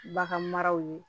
Bagan maraw ye